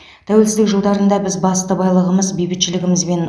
тәуелсіздік жылдарында біз басты байлығымыз бейбітшілігімізбен